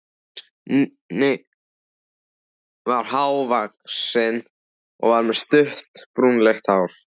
Nikki var há- vaxinn og með stutt, brúnleitt hár.